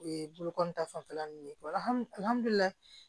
O ye bolokoli ta fanfɛla nunnu ye